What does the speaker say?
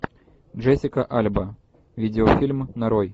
джессика альба видеофильм нарой